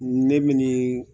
Ne minni